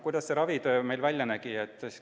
Kuidas meil ravi välja nägi?